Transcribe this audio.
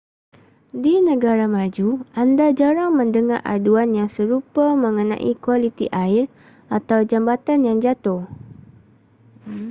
di negara maju anda jarang mendengar aduan yang serupa mengenai kualiti air atau jambatan yang jatuh